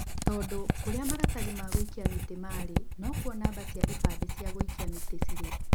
Tondũkũrĩa maratathi ma gũikia mĩtĩ marĩ. No kuo namba cia ibandĩ cia gũikia mĩtĩ cirĩ.